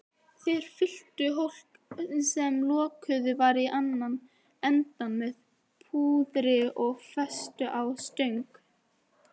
Þeir fylltu hólk, sem lokaður var í annan endann, með púðri og festu á stöng.